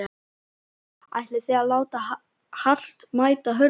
Telma: Ætlið þið að láta hart mæta hörðu hér?